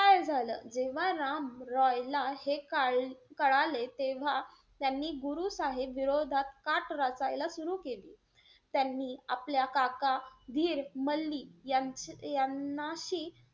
काय झालं? जेव्हा राम रॉयला हे काळ कळले तेव्हा त्यांनी गुरु साहेब विरोधात काट रचायला सुर केली. त्यांनी आपला काका धिरमल्ली या~ यांनाशी,